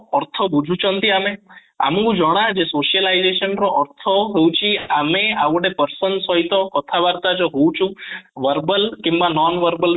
ଅର୍ଥ ବୁଝୁଛନ୍ତି ଆମେ ଆମକୁ ଜଣା ଯେ socialization ର ଅର୍ଥ ହଉଛି ଆମେ ଆଉ ଗୋଟେ person ସହିତ କଥା ବାର୍ତ୍ତା ଯୋଉ ହଉଛୁ verbal କିମ୍ବା nonverbal way